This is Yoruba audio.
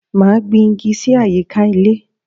Máa gbìn igi sì àyíká ilé